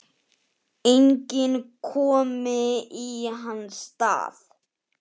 Enginn komi í hans stað.